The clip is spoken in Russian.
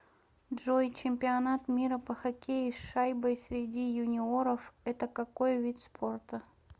джой чемпионат мира по хоккею с шайбой среди юниоров это какой вид спорта